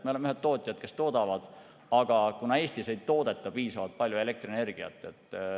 Me oleme ühed tootjad, kes toodavad, aga Eestis ei toodeta piisavalt palju elektrienergiat.